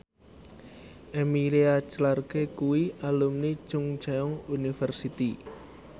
Emilia Clarke kuwi alumni Chungceong University